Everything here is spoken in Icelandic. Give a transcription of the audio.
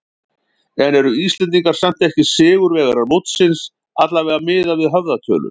En eru Íslendingar samt ekki sigurvegarar mótsins, allavega miðað við höfðatölu?